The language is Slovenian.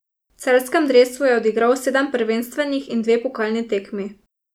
V celjskem dresu je odigral sedem prvenstvenih in dve pokalni tekmi.